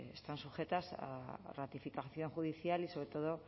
están sujetas a ratificación judicial y sobretodo